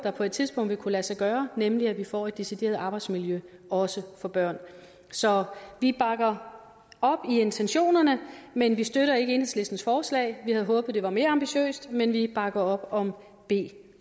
på et tidspunkt vil kunne lade sig gøre nemlig at vi får en decideret strategi for arbejdsmiljø også for børn så vi bakker op om intentionerne men vi støtter ikke enhedslistens forslag vi havde håbet det var mere ambitiøst men vi bakker op om b